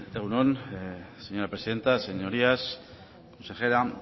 egun on señora presidente señorías consejera